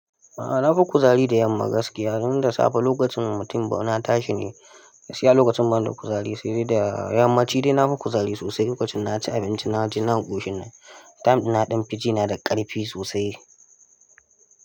A'a na fi kuzari da yamma gaskiya. Don da safe lokacin mutum ba na tashi ne, gaskiya lokacin ban da kuzari, sai da yammaci dai na fi kuzari sosai. Lokacin na ci abinci, na ci na ƙushin nan, time in na ɗan fi jina da ƙarfi sosai.